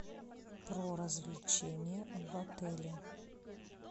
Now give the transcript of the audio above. про развлечения в отеле